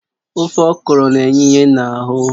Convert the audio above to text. Ofe okro na-enye ìhè n'ahụ